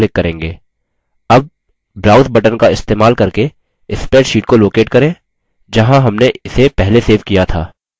अब browse button का इस्तेमाल करके spreadsheet को locate करें जहाँ हमने इसे पहले सेव किया था